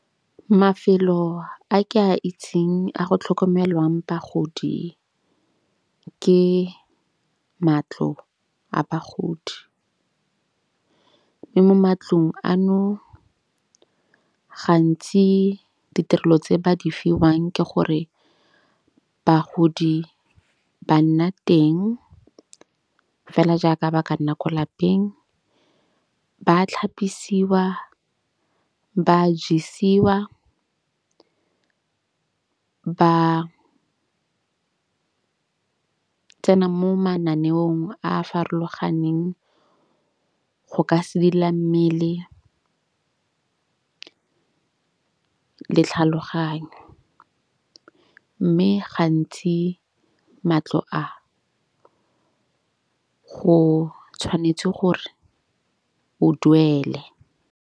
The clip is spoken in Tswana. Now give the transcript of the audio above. Mafelo a ke a itseng a go tlhokomelwang bagodi ke matlo a bagodi. Mo matlong ano gantsi ditirelo tse ba di fiwang ke gore bagodi ba nna teng fela jaaka ba ka nna ko lapeng. Ba tlhapisiwa, ba jisiwa, ba tsena mo mananeong a farologaneng go ka sedila mmele le tlhaloganyo. Mme gantsi matlo a go tshwanetse gore o duele.